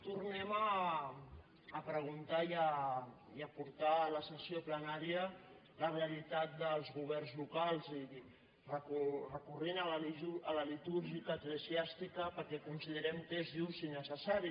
tornem a preguntar i a portar a la sessió plenària la realitat dels governs locals recorrent a la litúrgica eclesiàstica perquè considerem que és just i necessari